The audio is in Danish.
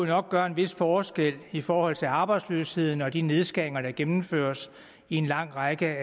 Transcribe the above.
nok gøre en vis forskel i forhold til arbejdsløsheden og de nedskæringer der gennemføres i en lang række